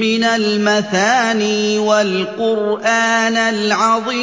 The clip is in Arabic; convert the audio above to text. مِّنَ الْمَثَانِي وَالْقُرْآنَ الْعَظِيمَ